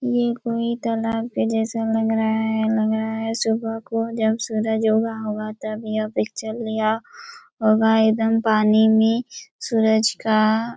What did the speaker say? ये कोई तलाब के जैसा लग रहा हैं लग रहा हैं सुबह को जब सूरज उगा होगा तब यह पिक्चर लिया होगा एकदम पानी में सूरज का--